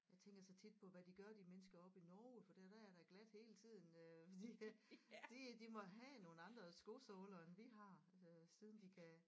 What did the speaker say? Jeg tænker så tit på hvad de gør de mennesker oppe i Norge for der der er da glat hele tiden øh fordi de de må have nogle andre skosåler end vi har øh siden de kan